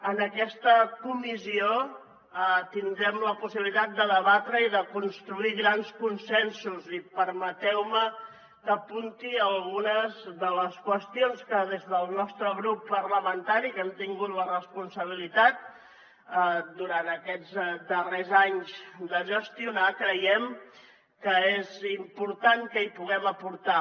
en aquesta comissió tindrem la possibilitat de debatre i de construir grans consensos i permeteu me que apunti algunes de les qüestions que des del nostre grup parlamentari que hem tingut la responsabilitat durant aquests darrers anys de gestionar creiem que és important que hi puguem aportar